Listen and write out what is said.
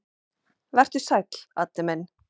Vertu sæll, Addi minn.